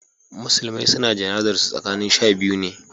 musulmai su na jana'zar su tsakin shabiyu ne